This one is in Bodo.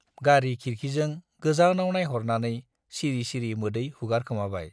गारि खिरखि जों गोजानाव नाइहरनानै सिरि सिरि मोदै हुगारखोमाबाय।